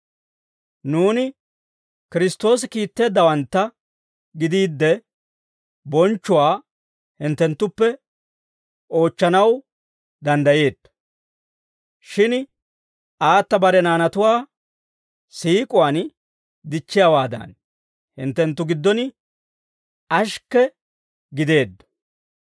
Nuuni Kiristtoosi kiitteeddawantta gidiidde, bonchchuwaa hinttenttuppe oochchanaw danddayeetto. Shin aata bare naanatuwaa siik'uwaan dichchiyaawaadan, hinttenttu giddon ashikke gideeddo.